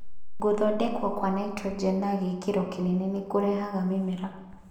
Gũthondekwo kwa nitrogen na gĩkĩro kĩnene nĩ kũrehaga mĩmera